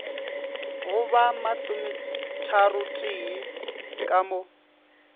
go ba masometharotee ka mo